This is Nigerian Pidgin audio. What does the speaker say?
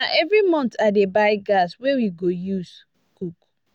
na every month i dey buy gas wey we go use cook.